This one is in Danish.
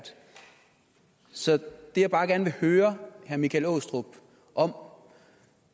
så det jeg bare gerne vil høre herre michael aastrup om